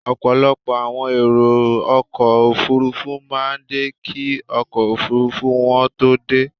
Ọ̀pọ̀lọpọ̀ àwọn èrò ọkọ̀ Òfurufú máa ń dé kí ọkọ̀ Òfurufú wọn tó dé.